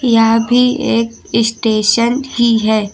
यह भी एक स्टेशन ही है।